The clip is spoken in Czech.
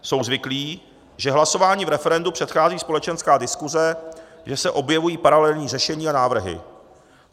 Jsou zvyklí, že hlasování v referendu předchází společenská diskuse, že se objevují paralelní řešení a návrhy.